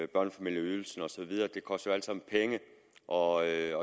børnefamilieydelsen og så videre det koster jo alt sammen penge og jeg